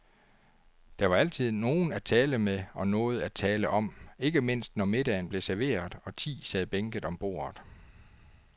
Der var altid nogen at tale med og noget at tale om, ikke mindst når middagen blev serveret, og ti sad bænket om bordet.